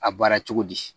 A baara cogo di